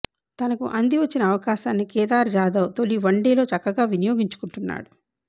తనకు అందివచ్చిన అవకాశాన్ని కేదార్ జాదవ్ తొలి వన్డేలో చక్కగా వినియోగించుకుంటున్నాడు